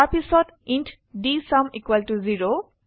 তাৰ পিছত int DSUM 0